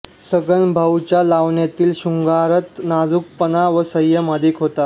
सगनभाऊच्या लावण्यातील शृंगारात नाजुकपणा व संयम अधिक होता